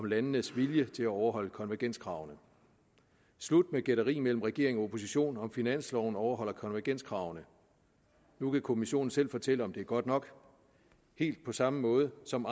landenes vilje til at overholde konvergenskravene slut med gætterier mellem regeringen og oppositionen om finansloven overholder konvergenskravene nu kan kommissionen selv fortælle om det er godt nok helt på samme måde som